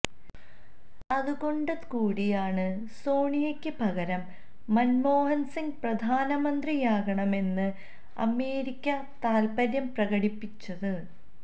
അതുകൊണ്ട് കൂടിയാണ് സോണിയക്ക് പകരം മന്മോഹന്സിംഗ് പ്രധാനമന്ത്രിയാകണമെന്ന് അമേരിക്ക താല്പ്പര്യം പ്രകടിപ്പിച്ചത്